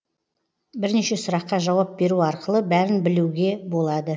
бірнеше сұраққа жауап беру арқылы бәрін білеуге болады